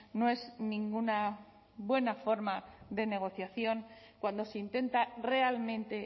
no es ninguna buena forma de negociación cuando se intenta realmente